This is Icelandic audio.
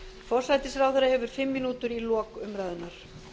forsætisráðherra hefur fimm mínútur í lok umræðunnar